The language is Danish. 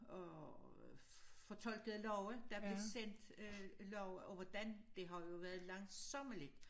Og fortolkede love der blev sendt øh love og hvordan det har jo været langsommeligt